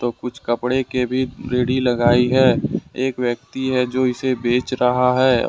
कुछ कपड़े के भी रेडी लगाई है एक व्यक्ति है जो इसे बेच रहा है और--